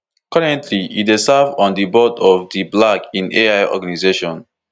currently e dey serve on di board of di black in ai organization